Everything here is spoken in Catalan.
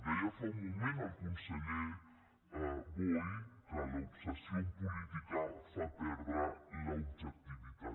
deia fa un moment el conseller boi que l’obsessió en política fa perdre l’objectivitat